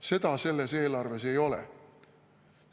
Seda selles eelarves ei ole.